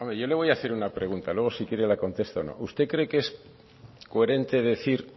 yo le voy a hacer una pregunta luego si quiere la contesta o no usted cree que es coherente decir